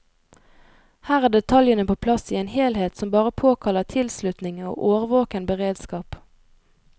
Her er detaljene på plass i en helhet som bare påkaller tilslutning og årvåken beredskap.